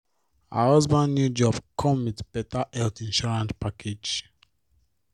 her husband new job come with better health insurance package.